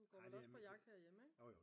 Du går vel også på jagt herhjemme ikke?